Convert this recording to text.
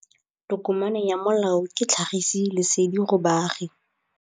Tokomane ya molao ke tlhagisi lesedi go baagi.